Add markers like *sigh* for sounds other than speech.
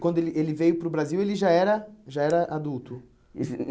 Quando ele ele veio para o Brasil, ele já era já era adulto? *unintelligible*